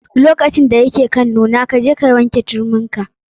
Lokacin da ya ke kan nuna, kaje ka ɗauke turmin ka.